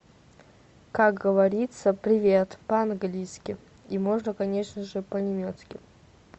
как говорится привет по английски и можно конечно же по немецки